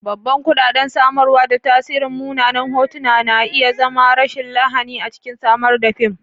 Babban kuɗaɗen samarwa da tasirin munanan hotuna na iya zama rashin lahani a cikin samar da fim.